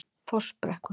Fossbrekku